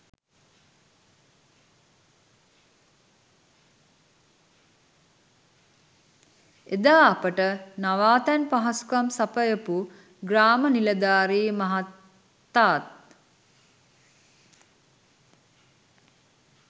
එදා අපට නවාතැන් පහසුකම් සපයපු ග්‍රාම නිලධාරි මහතාත්